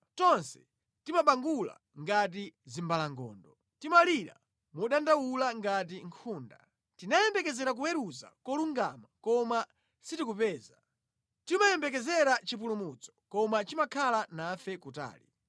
Tonse timabangula ngati zimbalangondo: Timalira modandaula ngati nkhunda. Tinayembekezera kuweruza kolungama; koma sitikupeza. Timayembekezera chipulumutso koma chimakhala nafe kutali.”